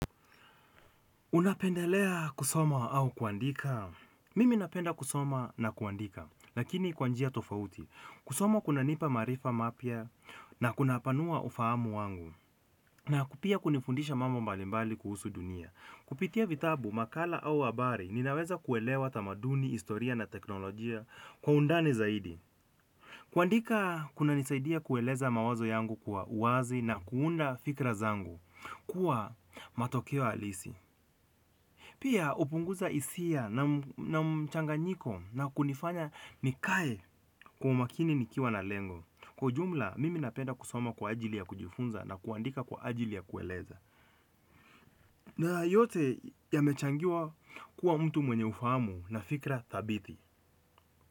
Unapendelea kusoma au kuandika? Mimi napenda kusoma na kuandika, lakini kwa njia tofauti. Kusoma kunanipa maarifa mapya na kunapanua ufahamu wangu. Na pia kunifundisha mambo mbalimbali kuhusu dunia. Kupitia vitabu, makala au habari, ninaweza kuelewa tamaduni, historia na teknolojia kwa undani zaidi. Kuandika, kunanisaidia kueleza mawazo yangu kwa uwazi na kuunda fikra zangu kuwa matokeo halisi. Pia hupunguza hisia na mchanganyiko na kunifanya nikae kwa umakini nikiwa na lengo. Kwa ujumla, mimi napenda kusoma kwa ajili ya kujifunza na kuandika kwa ajili ya kueleza. Na yote yamechangiwa kuwa mtu mwenye ufahamu na fikra dhabiti.